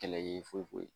Kɛlɛ ye foyi foyi ye